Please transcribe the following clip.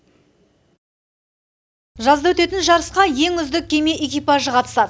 жазда өтетін жарысқа ең үздік кеме экипажы қатысады